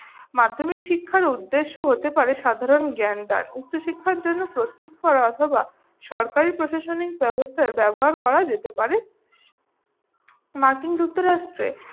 মাধ্যমিক শিক্ষার উদ্দ্যেশ্য হতে পারে সাধারণ জ্ঞান দান। উচ্চশিক্ষার জন্য প্রস্তুত করা অথবা সরকারি প্রশাসনিক ব্যবস্থার ব্যবহার করা যেতে পারে। মার্কিন যুক্তরাষ্ট্রে